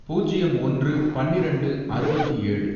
பூஜ்யம் ஒன்று, பன்னிரெண்டு, அறுபத்தி ஏழு